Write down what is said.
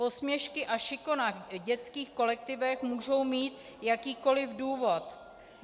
Posměšky a šikana v dětských kolektivech můžou mít jakýkoliv důvod.